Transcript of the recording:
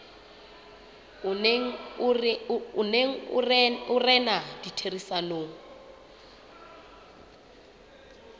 o neng o rena ditherisanong